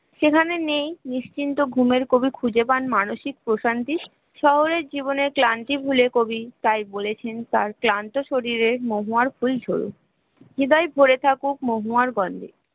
যেখানে নেই নিশ্চিন্ত ঘুমের কোন খুঁজে পান মানসিক প্রশান্তির শহরের জীবনের ক্লান্তি ভুলে কবি বলেছেন তার ক্লান্ত শরীরে মহুয়ার ফুল ভরে থাকুক মাহুবার